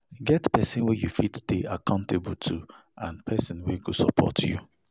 Get persin wey you fit de accountable to and person wey go support you